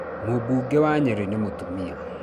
Mũmbunge wa Nyeri nĩ mũtumia